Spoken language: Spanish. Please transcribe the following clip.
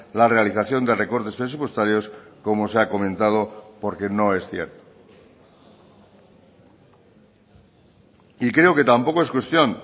la realización de recortes presupuestarios como se ha comentado porque no es cierto y creo que tampoco es cuestión